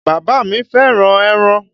Bàbá mi fẹ́ràn ẹran.